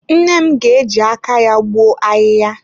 Nne m ga-eji aka ya gbuo ahịhịa.